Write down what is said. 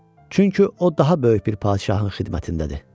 Çünki o daha böyük bir padşahın xidmətindədir.